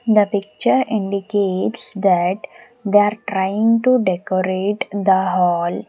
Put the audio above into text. The picture indicates that they are trying to decorate the hall.